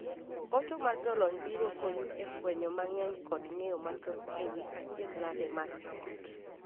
Hocho mar jolony biro konyi e fwenyo mang'eny kod ng'eyo mathoth e wii achiedhnade mag joot.